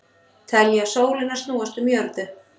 Telja sólina snúast um jörðu